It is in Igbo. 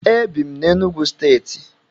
Ebi m na Enugwu stééti